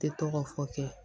Tɛ tɔgɔ fɔ kɛ